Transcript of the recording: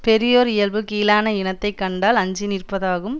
பெரியோர் இயல்பு கீழான இனத்தை கண்டால் அஞ்சி நிற்பதாகும்